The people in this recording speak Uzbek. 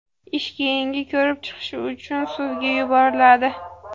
Ish keyingi ko‘rib chiqish uchun sudga yuboriladi.